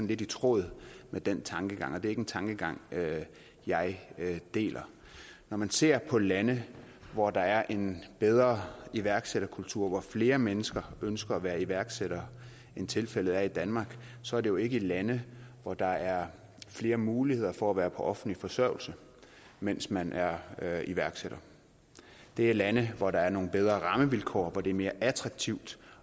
lidt i tråd med den tankegang og det er ikke en tankegang jeg deler når man ser på lande hvor der er en bedre iværksætterkultur og hvor flere mennesker ønsker at være iværksættere end tilfældet er i danmark så er det jo ikke lande hvor der er flere muligheder for at være på offentlig forsørgelse mens man er er iværksætter det er lande hvor der er nogle bedre rammevilkår og hvor det er mere attraktivt